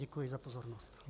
Děkuji za pozornost.